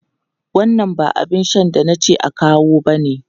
Wannan ba abin shan da na ce a kawo bane!